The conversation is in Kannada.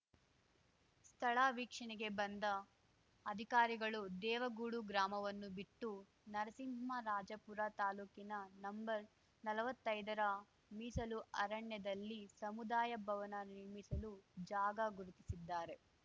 ಸ್ಥಳ ವೀಕ್ಷಣೆಗೆ ಬಂದ ಅಧಿಕಾರಿಗಳು ದೇವಗೂಡು ಗ್ರಾಮವನ್ನು ಬಿಟ್ಟು ನರಸಿಂಹರಾಜಪುರ ತಾಲೂಕಿನ ನಂಬರ್ನಲ್ವತ್ತೈದರ ಮೀಸಲು ಅರಣ್ಯದಲ್ಲಿ ಸಮುದಾಯ ಭವನ ನಿರ್ಮಿಸಲು ಜಾಗ ಗುರುತಿಸಿದ್ದಾರೆ